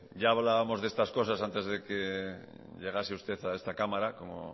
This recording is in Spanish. ya hablábamos de estas cosas antes de que llegase usted a esta cámara como